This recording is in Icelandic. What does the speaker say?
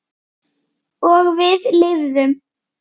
Og við lifðum.